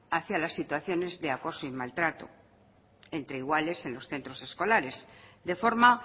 hacia las situaciones de acoso y maltrato entre iguales en los centros escolares de forma